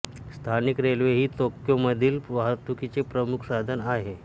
स्थानिक रेल्वे ही तोक्योमधील वाहतुकीचे प्रमुख साधन आहे